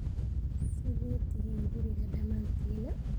Sidee tiixin gurigaaga damantin?